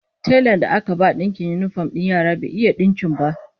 Telan da aka ba dinkin yinifom din yaran bai iya dinkin ba